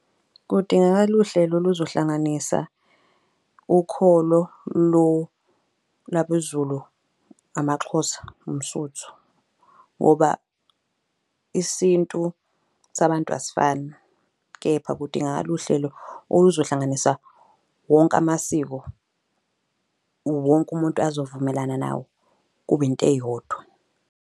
Kudingakala uhlelo oluzohlanganisa ukholo lwabeZulu, amaXhosa, umSuthu, ngoba isintu sabantu asifani. Kepha kudingakala uhlelo oluzohlanganisa wonke amasiko. Wonke umuntu azovumelana nawo kube into eyodwa.